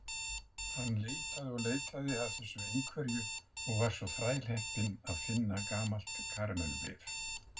Hann leitaði og leitaði að þessu einhverju og var svo þrælheppinn að finna gamalt karamellubréf.